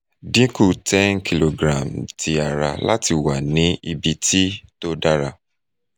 dinku ten kilogram ti ara lati wa ni ibiti to dara